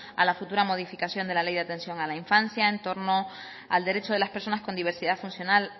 a la futura modificación de la ley de atención a la infancia en torno al derecho de las personas con diversidad funcional